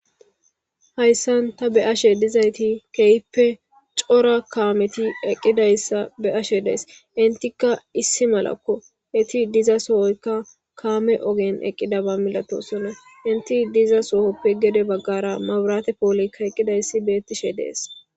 hayssan ta be ashe dizayti kehippe cora kaameti eqqidayssa be ashe dees intika issi malakko eti diza sohoyka kaame ogen eqqida ba milato sonna inti diza sohoppe gede baggara maburaate poolykka eqqidayssi beettishe dees